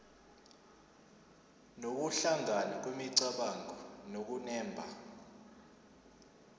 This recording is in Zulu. nokuhlangana kwemicabango nokunemba